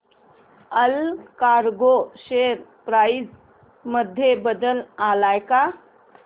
Allcargo share price मध्ये बदल आलाय का